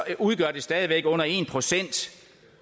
udgør stadig væk under en procent